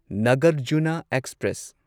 Nagarjuna express